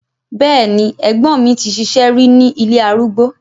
Bẹ́ẹ̀ni, ẹ̀gbọ́n mi ti ṣiṣẹ́ rí ní ilé arúgbó.